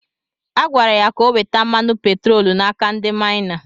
Agwara ya ka o weta mmanụ petroolu n’aka ndị maịna.